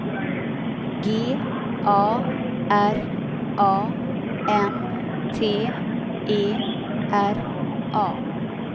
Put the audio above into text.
G A R A N T E R A